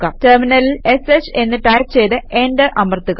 ടെർമിനലിൽ ഷ് എന്ന് ടൈപ് ചെയ്ത് എന്റർ അമർത്തുക